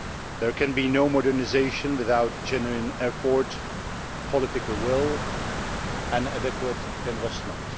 There can be no modernisation without genuine effort, political will and adequate investment.